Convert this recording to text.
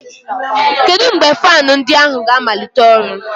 Kedu mgbe fan ndi ahu ga-amalite ọrụ?